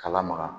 K'a lamaga